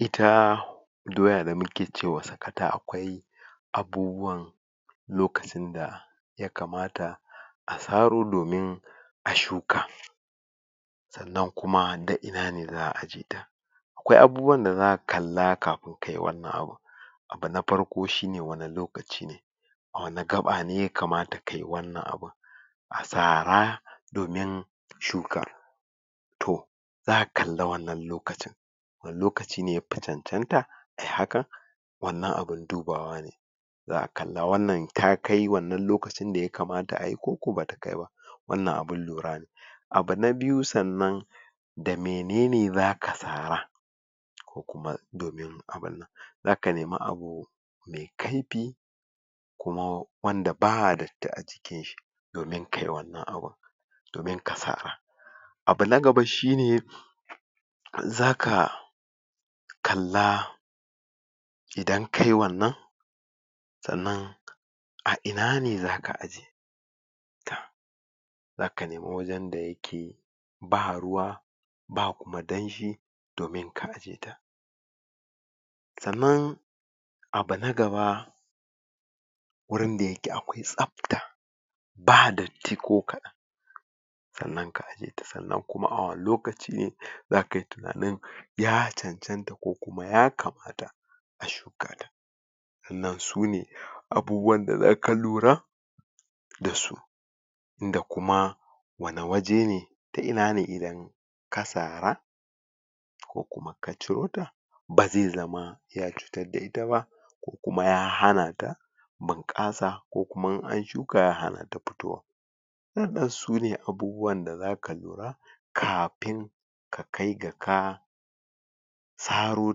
Ita doya da muke cewa sakata akwai abubuwan lokacin da ya kamata a tsaro domin a shuka sannan kuma da ina ne zaa ajiye ita. Akwai abubuwan da zaa kalla kafun ka yi wannan abun. abu na farko shi ne, wanni lokaci ne a wani gaba ne ya kamata ka yi wannan abun a tsara, domin shuka toh, zaa kalla wannan lokacin wani lokaci ne ya pacancanta ayi hakan wannan abun dubawa ne zaa kalla wannan, ta kai wannan lokacin da ya kamata a yi ko ko ba ta kai ba, wannan abun lura ne abu na biyu sannan da menene zaka tsara ko kuma domin abunnan, za ka nema abu mai kaipi kuma wanda ba datti a jikin shi. domin ka yi wannan abun, domin ka saa abu na gaba shi ne za ka kalla idan kayi wannan sannan a ina ne za ka ajiye. toh za ka nema wajen da ya ke, ba ruwa ba kuma danji domin ka ajiye ita sannan, abu na gaba wurin da ya ke akwai sabta ba datti ko kadan sannan ka ajiye ta, sannan kuma a lokaci ne za ka yi tunanin ya cancanta ko kuma ya kamata a shuka ta sannan su ne abubuwan da za ka lura da su inda kuma, wana waje ne ta ina ne idan ka tsara ko kuma ka ciro ta ba ze zama ya cutar da ita ba kuma ya hana ta bankasa ko kuma in an shuka ya hana ta fitowa su ne abubuwan da za ka lura kapin ka kai ga ka tsaro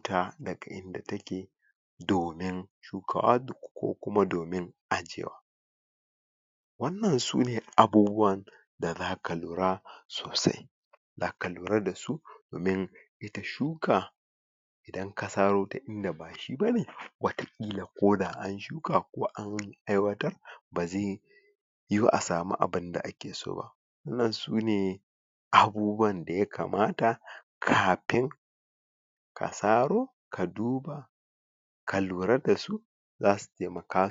tada ga inda ta ke domin shukawa ko kuma domin ajewa wannan su ne abuuwan da za ka lura, sosai za ka lura da su domin ta shuka idan ka tsaro ta inda ba shi ba ne watakila ko da an shuka ko an aiwatar, ba ze yu a samu abunda a ke so ba wannan su ne abubuwan da ya kamata kapin ta tsaro ka duba ka lura da su za su taimaka